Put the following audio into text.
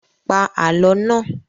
Pa Àlọ́ náà!